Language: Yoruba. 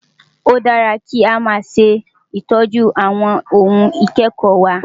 Ó dára kí a máa ṣe ìtọ́jú àwọn ohun ìkẹ́kọ̀ọ́ wa.